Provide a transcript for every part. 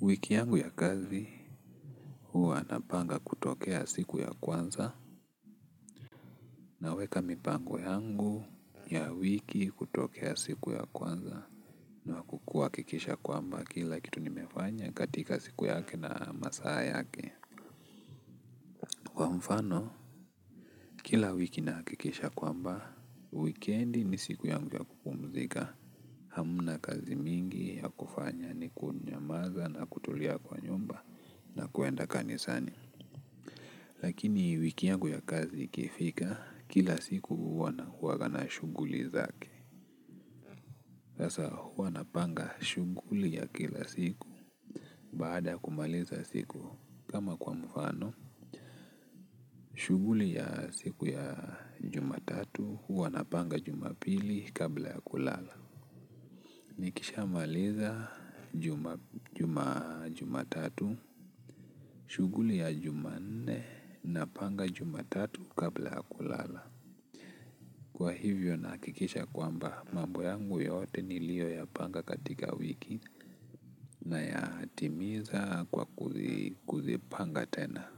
Wiki yangu ya kazi huwa napanga kutokea siku ya kwanza naweka mipango yangu ya wiki kutokea siku ya kwanza na kuhakikisha kwamba kila kitu nimefanya katika siku yake na masaa yake kwa mfano, kila wiki nahakikisha kwamba, wikendi ni siku yangu ya kupumzika Hamna kazi mingi ya kufanya ni kunyamaza na kutulia kwa nyumba na kwenda kanisani. Lakini wiki yangu ya kazi ikifika, kila siku huwa na huanga na shughuli zake. Sasa huwa napanga shughuli ya kila siku. Baada ya kumaliza siku kama kwa mfano, shughuli ya siku ya jumatatu, huwa napanga jumapili kabla ya kulala. Nikishamaliza jumatatu, shughuli ya jumanne, napanga jumatatu kabla ya kulala. Kwa hivyo nahakikisha kwamba mambo yangu yote niliyoyapanga katika wiki nayatimiza kwa kuzipanga tena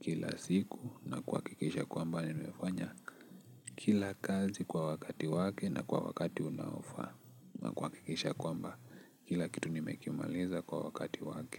kila siku na kuhakikisha kwamba nimefanya kila kazi kwa wakati wake na kwa wakati unaofaa na kuhakikisha kwamba kila kitu nimekimaliza kwa wakati wake.